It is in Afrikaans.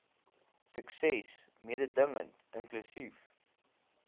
sukses mededingend inklusief